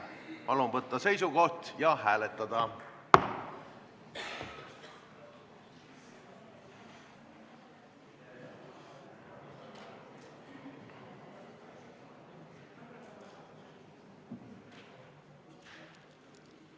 Palun võtta seisukoht ja hääletada!